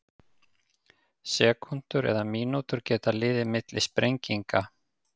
Sekúndur eða mínútur geta liðið milli sprenginga.